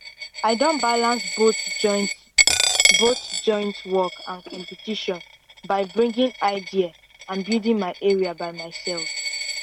i don ballance both joint both joint work and competition by bringing idea and building my area by myself